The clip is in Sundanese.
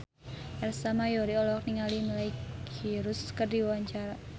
Ersa Mayori olohok ningali Miley Cyrus keur diwawancara